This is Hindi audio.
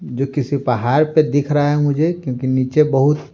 जो किसी पहाड़ पे दिख रहा है मुझे क्योंकि नीचे बहुत--